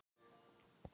Litla Dal